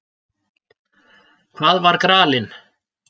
Hvað var gralinn?